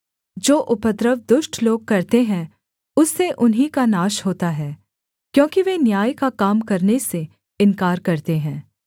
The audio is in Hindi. जो उपद्रव दुष्ट लोग करते हैं उससे उन्हीं का नाश होता है क्योंकि वे न्याय का काम करने से इन्कार करते हैं